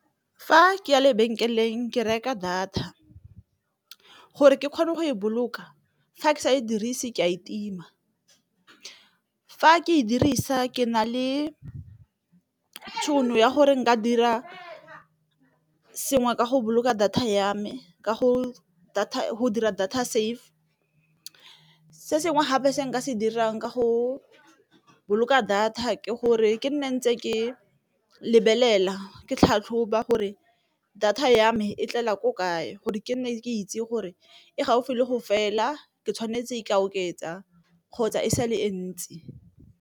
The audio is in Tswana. Fa ke ya lebenkeleng ke reka data gore ke kgone go e boloka fa ke sa e dirise ke a e tima, fa ke e dirisa ke na le tšhono ya gore ka dira sengwe ka go boloka data ya me go dira data safe, se sengwe gape se nka se dirang ka go boloka data ke gore ke nne ntse ke lebelela ke tlhatlhoba gore data ya me e tlela ko kae gore ke nne ke itse gore e gaufi le go fela ke tshwanetse e ka oketsa kgotsa e sa le e ntsi.